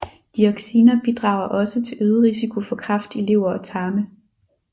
Dioxiner bidrager også til øget risiko for kræft i lever og tarme